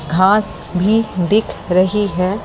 घास भी दिख रही है।